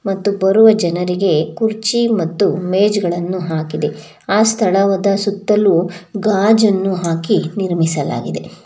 ಮತ್ತು ಬರುವ ಜನರಿಗೆ ಕುರ್ಚಿ ಮತ್ತು ಮೇಜುಗಳನ್ನು ಹಾಕಿದೆ ಆ ಸ್ಥಳದ ಸುತ್ತಲೂ ಗಾಜನ್ನು ಹಾಕಿ ನಿರ್ಮಿಸಲಾಗಿದೆ.